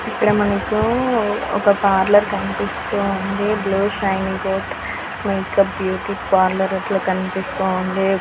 ఇక్కడ మనకూ ఒక పార్లర్ కనిపిస్తూ ఉంది. బ్లూశింగ్టన్ మేకప్ బ్యూటీ పార్లర్ అట్లా కనిపిస్తూ ఉంది .